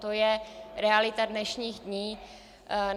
To je realita dnešních dní.